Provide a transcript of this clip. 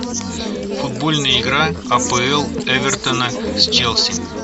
футбольная игра апл эвертона с челси